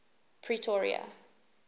pretoria